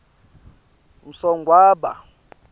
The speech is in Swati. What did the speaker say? msogwaba